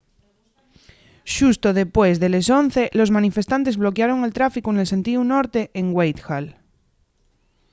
xusto depués de les 11:00 los manifestantes bloquiaron el tráficu nel sentíu norte en whitehall